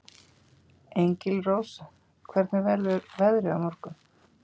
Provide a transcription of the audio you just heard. Engilrós, hvernig verður veðrið á morgun?